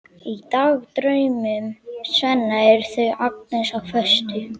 Í dagdraumum Svenna eru þau Agnes á föstu.